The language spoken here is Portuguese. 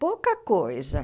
Pouca coisa.